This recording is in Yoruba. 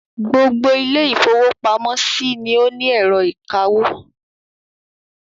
Gbogbo ilé-ìfowópamọ́sí ni ó ní ẹ̀rọ ìkawó.